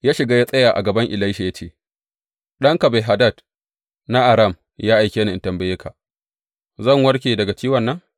Ya shiga ya tsaya a gaban Elisha ya ce, Ɗanka Ben Hadad na Aram ya aike ni in tambaye ka, Zan warke daga ciwon nan?’